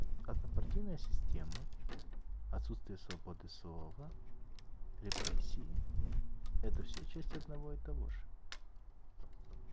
однопартийная система отсутствие свободы слова репрессии это всё честь одного и того же